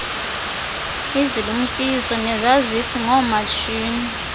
izilumkiso nezaziso ngoomatshini